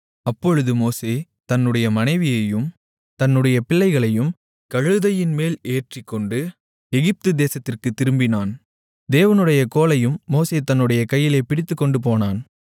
அப்பொழுது மோசே தன்னுடைய மனைவியையும் தன்னுடைய பிள்ளைகளையும் கழுதையின் மேல் ஏற்றிக்கொண்டு எகிப்து தேசத்திற்குத் திரும்பினான் தேவனுடைய கோலையும் மோசே தன்னுடைய கையிலே பிடித்துக்கொண்டு போனான்